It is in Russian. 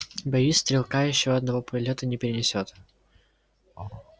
боюсь стрелка ещё одного полёта не перенесёт